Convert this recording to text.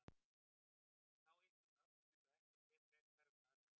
En þá yppir hún öxlum eins og ekkert sé frekar um það að segja.